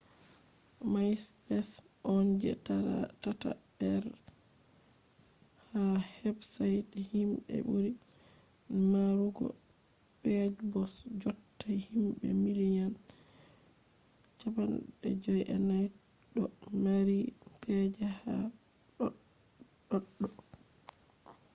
maispes on je tatabre ha websaits himɓe ɓuri marugo pej bo jotta himɓe miliyan 54 ɗo mari pej ha ɗoɗɗo